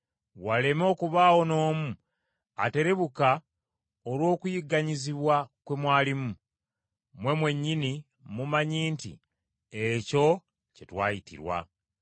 waleme okubaawo n’omu aterebuka olw’okuyigganyizibwa kwe mwalimu. Mmwe mwennyini mumanyi nti ekyo kye twayitirwa.